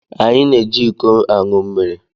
Anyị na-eji iko aṅụ mmiri